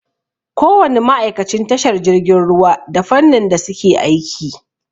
Ko wani ma'aikacin tashar jirgin ruwa da fannin da suke aiki.